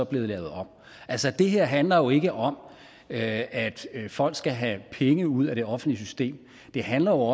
blive lavet om altså det her handler jo ikke om at folk skal have penge ud af det offentlige system det handler